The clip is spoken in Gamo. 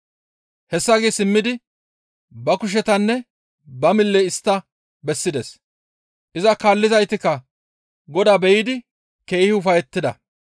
Hessa gi simmidi ba kushetanne ba mille istta bessides; iza kaallizaytikka Godaa be7idi keehi ufayettida.